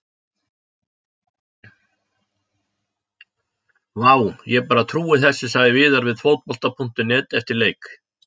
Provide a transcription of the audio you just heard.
Vá, ég bara trúi þessu sagði Viðar við Fótbolta.net eftir leik.